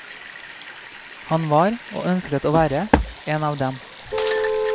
Han var, og ønsket å være, en av dem.